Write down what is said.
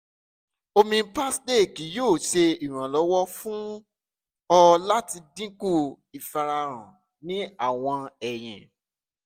omi [ccs] parsley kii yoo ṣe iranlọwọ fun ọ lati dinku ifarahan ni awọn eyin